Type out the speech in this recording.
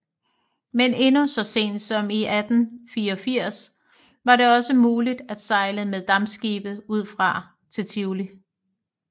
Men endnu så sent som i 1884 var det også muligt at sejle med dampskibe udefra til Tivoli